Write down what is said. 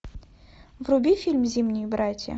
вруби фильм зимние братья